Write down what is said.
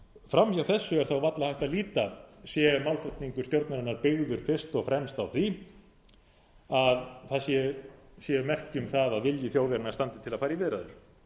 fram hjá þessu er þá varla hægt að líta sé málflutningur stjórnarinnar byggður fyrst og fremst á því að það séu merki um það að vilji þjóðarinnar standi til að fara í viðræður